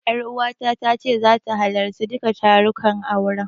Ƴaruwata ta ce zata halarci duka tarukan auren.